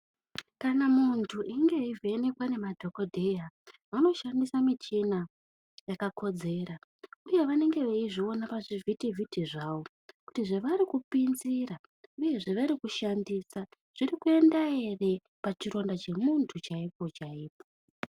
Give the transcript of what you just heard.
Kana muntu einge eivhenekwa ngemadhokodheya vanoshandise michini yakakodzera uye vanenge veizviona pazvivhiti vhiti zvavo kuti zvevarikupinzira nezvavari kushandisa zvirikuenda ere pachironda pemuntu chaipo chaipo.